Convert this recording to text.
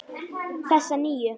Þessa nýju.